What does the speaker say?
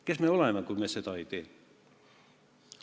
Kes me oleme, kui me seda ei tee?